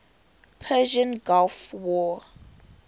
persian gulf war